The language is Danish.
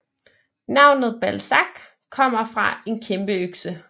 Navnet Balsac stammer fra en kæmpeøkse